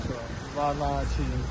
Yaxşı, vaxtilə.